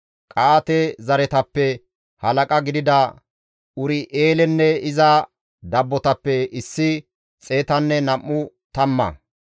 Qa7aate zereththatappe halaqa gidida Ur7eelenne iza dabbotappe issi xeetanne nam7u tamma;